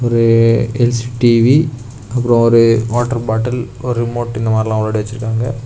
ஒரு L C TV அப்புரோ ஒரு வாட்டர் பாட்டில் ஒரு ரிமோட் இந்த மாதிரி எல்லா முன்னாடி வச்சிருக்காங்க.